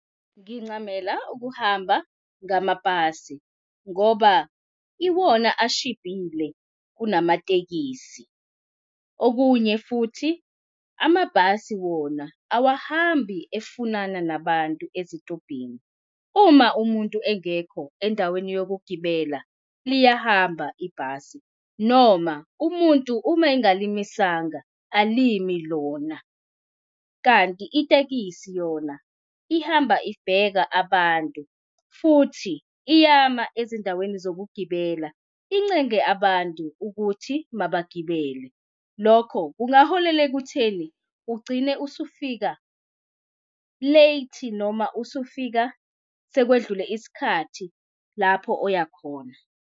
Ngincamela ukuhamba ngamabhasi ngoba iwona ashibhile kunamatekisi. Okunye futhi amabhasi wona awahambi efunana nabantu ezitobhini. Uma umuntu engekho endaweni yokugibela liyahamba ibhasi noma umuntu uma ongalimisanga alimi lona. Kanti itekisi yona ihamba ibheka abantu futhi iyama ezindaweni zokugibela incenge abantu ukuthi mabagibele. Lokho kungaholela ekutheni ugcine usufika late noma usufika sekwedlule isikhathi lapho oya khona.